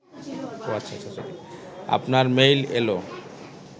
আপনার মেইল এল